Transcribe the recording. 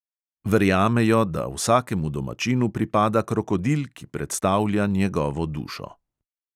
Verjamejo, da vsakemu domačinu pripada krokodil, ki predstavlja njegovo dušo.